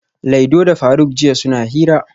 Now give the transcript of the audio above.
Laido da faruk jiya suna hira